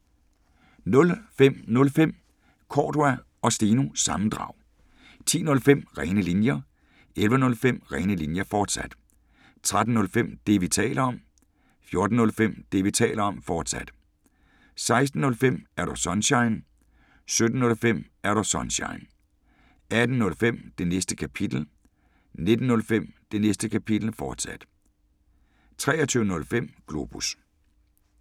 05:05: Cordua & Steno – sammendrag 10:05: Rene Linjer 11:05: Rene Linjer, fortsat 13:05: Det, vi taler om 14:05: Det, vi taler om, fortsat 16:05: Er Du Sunshine? 17:05: Er Du Sunshine? 18:05: Det Næste Kapitel 19:05: Det Næste Kapitel, fortsat 23:05: Globus